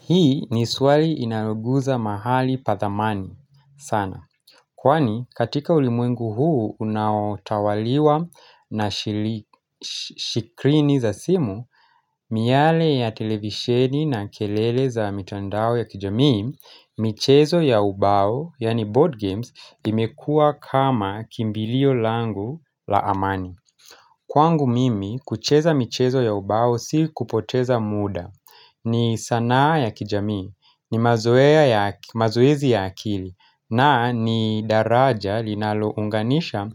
Hii ni swali inyoguza mahali pathamani sana. Kwani katika ulimwengu huu unaotawaliwa na shikrini za simu, miyale ya televisheni na kelele za mitandao ya kijami, michezo ya ubao, yaani board games, imekua kama kimbilio langu la amani. Kwangu mimi, kucheza michezo ya ubao si kupoteza muda, ni sanaa ya kijamii. Ni mazoezi ya akili na ni daraja linalounganisha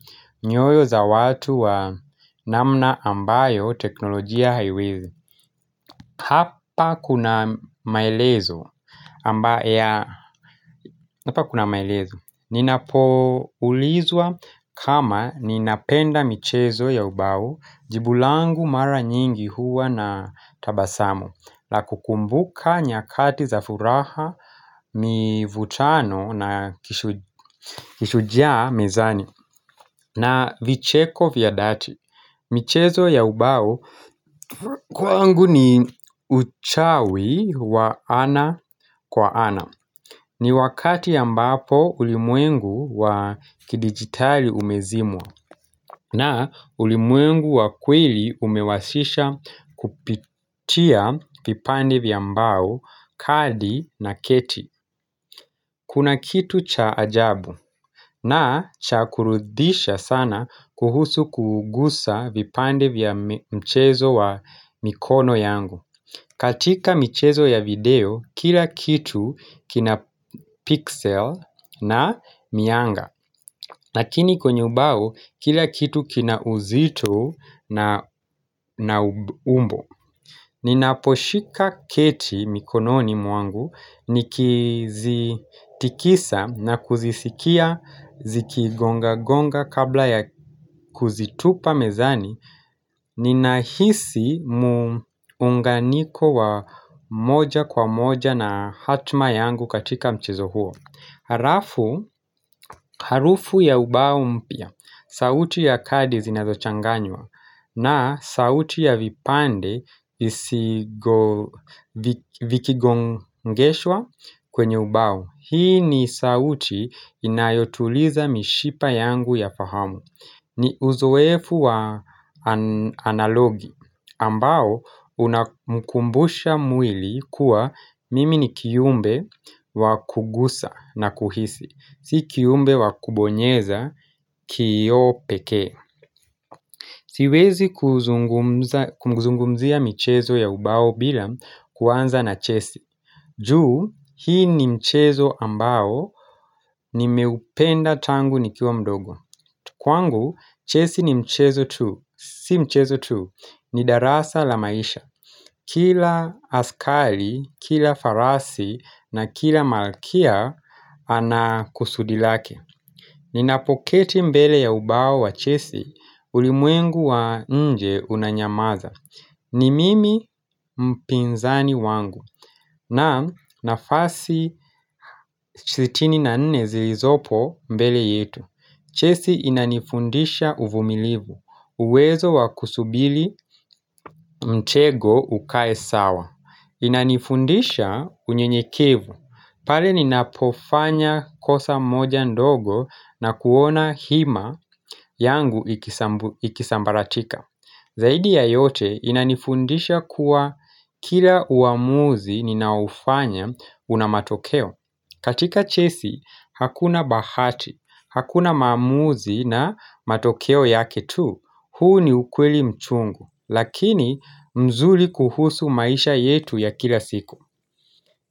nyoyo za watu wa namna ambayo teknolojia haiwezi. Hapa kuna maelezo. Hapa kuna maelezo. Ninapo ulizwa kama ninapenda michezo ya ubao jibulangu mara nyingi huwa na tabasamu. La kukumbuka nyakati za furaha mivutano na kishujaa mezani na vicheko vyadati michezo ya ubao kwangu ni uchawi wa ana kwa ana ni wakati a mbapo ulimwengu wa kidigitali umezimwa na ulimwengu wa kweli umewasisha kupitia vipande vya mbao, kadi na keti. Kuna kitu cha ajabu na cha kuridhisha sana kuhusu kugusa vipande vya mchezo wa mikono yangu. Katika michezo ya video, kila kitu kina pixel na mianga. Lakini kwenye ubao kila kitu kina uzito na umbo Ninaposhika keti mikononi mwangu nikizitikisa na kuzisikia zikigonga gonga kabla ya kuzitupa mezani Ninahisi muunganiko wa moja kwa moja na hatma yangu katika mchezo huo Harafu harufu ya ubao mpya sauti ya kadi zinazo changanywa na sauti ya vipande isi vikigongeshwa kwenye ubao. Hii ni sauti inayotuliza mishipa yangu ya fahamu. Ni uzowefu wa analogi ambao unamkumbusha mwili kuwa mimi ni kiumbe wa kugusa na kuhisi. Si kiumbe wa kubonyeza kioo pekee Siwezi kumzungumzia mchezo ya ubao bila kuanza na chesi juu hii ni mchezo ambao ni meupenda tangu nikiwa mdogo Kwangu chesi ni mchezo tuu, si mchezo tuu, ni darasa la maisha Kila askali, kila farasi na kila malkia ana kusudilake Ninapoketi mbele ya ubao wa Chessie ulimwengu wa nje unanyamaza. Ni mimi mpinzani wangu na nafasi 64 zilizopo mbele yetu. Chessie inanifundisha uvumilivu. Uwezo wakusubili mtego ukae sawa. Inanifundisha unye nyekevu pale ni napofanya kosa moja ndogo na kuona hima yangu ikisambaratika Zaidi ya yote inanifundisha kuwa kila uamuzi ninaoufanya unamatokeo katika chesi hakuna bahati, hakuna maamuzi na matokeo yake tu huu ni ukweli mchungu Lakini mzuli kuhusu maisha yetu ya kila siku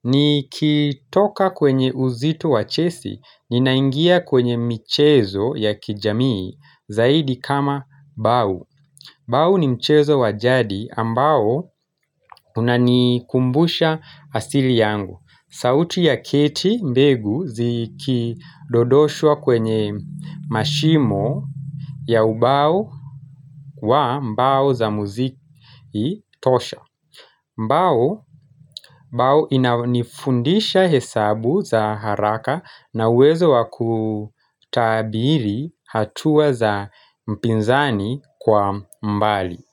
ni kitoka kwenye uzito wachesi Ninaingia kwenye michezo ya kijamii Zaidi kama bau Bau ni mchezo wajadi ambao Unanikumbusha asili yangu sauti ya keti mbegu ziki dodoshwa kwenye mashimo ya ubao wa mbao za muziki tosha mbao inafundisha hesabu za haraka na uwezo wakutabiri hatua za mpinzani kwa mbali.